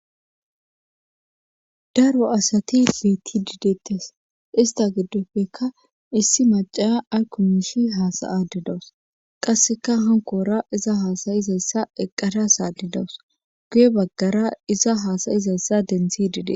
daro asati piti diideettes ista giddopfekka issi maca ayko miishi haasayade dawus qasseka hankoora iza haasayizayssa eqqara saadidawus guye baggara iza haasayizayssa densi dide